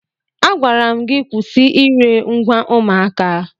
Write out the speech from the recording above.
Agwara m gị kwụsị ire ngwa ụmụaka!